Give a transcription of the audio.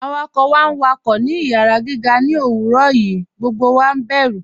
Awakọ̀ wá n wákọ̀ ní ìyàrá gígà ní owurọ̀ yìí, gbogbo wá bẹ̀rù.